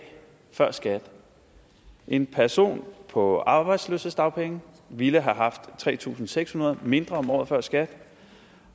før skat en person på arbejdsløshedsdagpenge ville have haft tre tusind seks hundrede mindre om året før skat